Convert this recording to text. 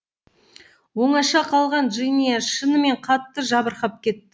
оңаша қалған джиния шынымен қатты жабырқап кетті